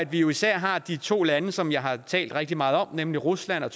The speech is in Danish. vi jo især har de to lande som jeg har talt rigtig meget om nemlig rusland og